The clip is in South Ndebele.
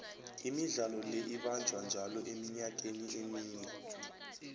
imidlalo le ibanjwa njalo eminyakeni emine